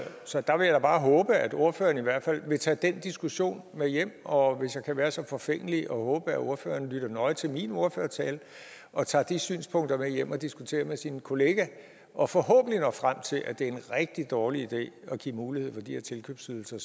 så der vil jeg bare håbe at ordføreren i hvert fald vil tage den diskussion med hjem og hvis jeg kan være så forfængelig og håbe at ordføreren lytter nøje til min ordførertale og tager de synspunkter med hjem og diskuterer med sin kollega og forhåbentlig når frem til at det en rigtig dårlig idé at give mulighed for de her tilkøbsydelser